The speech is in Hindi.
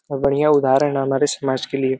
और बढ़ियां उदाहरण हमारे समाज के लिए --